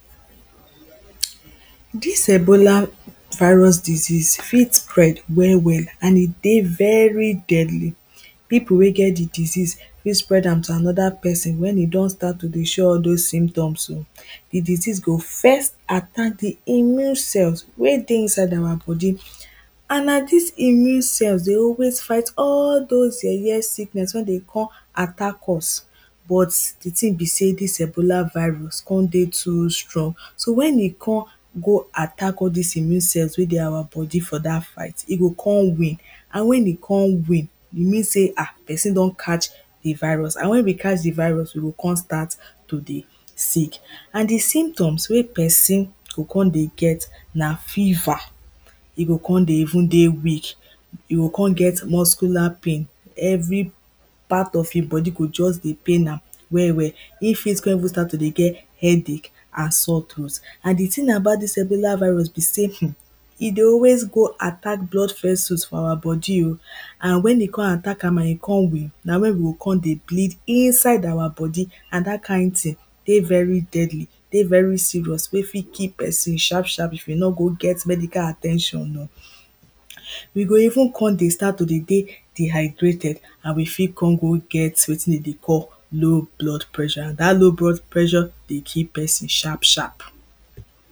dis ebola virus disease fit spread well-well and e dey very deadly people wey get di disease fit spread am to anoda pesin wen e don start to dey show all those symptoms um di disease go first attack di immune cells wey dey inside our bodi and na dis immune cells dey always fight all dose yeye sickness wen dey com attack us but di tin be say dis ebola virus con dey too strong so wen e com go attack all dis immune cells wey dey our bodi for dat fight e go con win and wen e con win e mean say um pesin don catch di virus and wen we catch di virus we go con start to dey sick and di symptoms wey pesin go com dey get na feverrr E go con dey even dey weak e go con get muscular pain every part of im bodi go just dey pain am well-well im fit con even start to dey get headache and sore throat and di thing about dis ebola virus be say um e dey always go attack blood vessels for our body um and wen e com attack am and e com win na wen we go com dey bleed inside our bodi and dat kain tin dey very deadly dey very serious wey fit kee pesin sharp-sharp if e nor go get medical at ten tion um we go even com to dey start to de dey dehydrated and we fit com go get wetin dem dey call low blood pressure and dat low blood pressure dey kee pesin sharp-sharp.